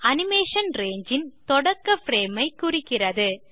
animation ரங்கே ன் தொடக்க பிரேம் ஐ குறிக்கிறது